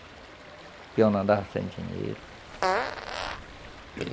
Porque eu andava sem dinheiro.